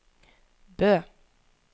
Bø